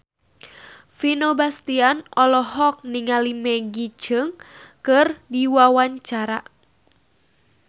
Vino Bastian olohok ningali Maggie Cheung keur diwawancara